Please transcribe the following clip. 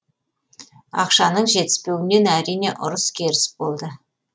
ақшаның жетіспеуінен әрине ұрыс керіс болды